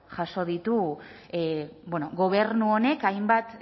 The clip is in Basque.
jaso ditu gobernu honek hainbat